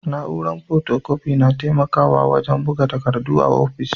Na'uran fotokofi na taimakawa wajen buga takardu a ofis.